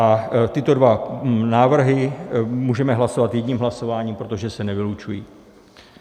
A tyto dva návrhy můžeme hlasovat jedním hlasováním, protože se nevylučují.